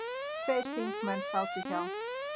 Tveir þingmenn sátu hjá.